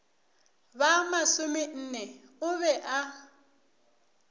ba masomenne o be a